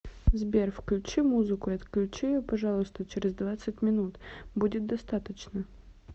сбер включи музыку и отключи ее пожалуйста через двадцать минут будет достаточно